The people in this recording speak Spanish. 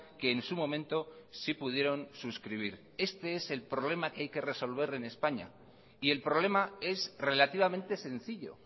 que en su momento sí pudieron suscribir este es el problema que hay que resolver en españa y el problema es relativamente sencillo